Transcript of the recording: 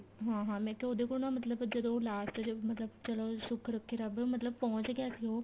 ਹਾਂ ਹਾਂ ਮੈਂ ਕਿਹਾ ਉਹਦੇ ਕੋਲ ਨਾ ਮਤਲਬ ਜਦੋਂ ਉਹ last ਚ ਮਤਲਬ ਚਲੋ ਸੁੱਖ ਰੱਖੇ ਰੱਬ ਮਤਲਬ ਪਹੁੰਚ ਗਿਆ ਸੀ ਉਹ